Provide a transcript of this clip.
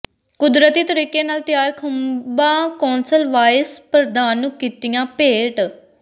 ਕੁਦਰਤੀ ਤਰੀਕੇ ਨਾਲ ਤਿਆਰ ਖੁੰਭਾਂ ਕੌਂਸਲ ਵਾਈਸ ਪ੍ਰਧਾਨ ਨੂੰ ਕੀਤੀਆਂ ਭੇਟ